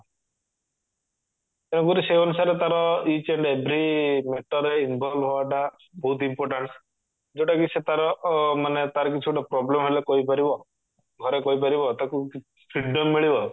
ତେଣୁ କରି ସେ ଅନୁସାରେ ତାର each and every matter ରେ involve ହବାଟା ବହୁତ important ଯଉଟା କି ସେ ତାର ଅ ମାନେ ତାର କିଛି ଗୋଟେ problem ହେଲେ କହିପାରିବ ଘରେ କହିପାରିବ ତାକୁ କି freedom ମିଳିବ